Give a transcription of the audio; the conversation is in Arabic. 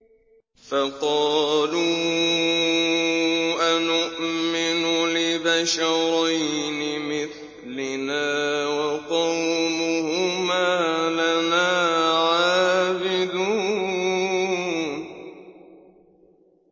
فَقَالُوا أَنُؤْمِنُ لِبَشَرَيْنِ مِثْلِنَا وَقَوْمُهُمَا لَنَا عَابِدُونَ